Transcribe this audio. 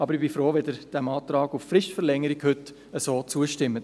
Ich bin jedoch froh, wenn Sie diesem Antrag auf Fristverlängerung heute so zustimmen.